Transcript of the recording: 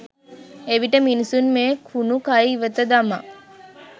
එවිට මිනිසුන් මේ කුණු කය ඉවත දමා